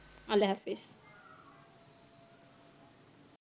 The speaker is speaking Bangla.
আল্লা হাফিজ